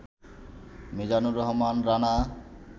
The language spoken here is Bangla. মিজানুর রহমান রানা